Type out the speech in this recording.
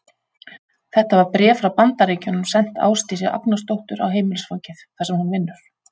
Þetta var bréf frá Bandaríkjunum sent Ásdísi Agnarsdóttur á heimilisfangið, þar sem hún vinnur.